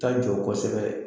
Ta jɔ kosɛbɛ